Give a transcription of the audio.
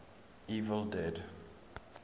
evil dead